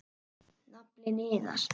Naflinn iðar.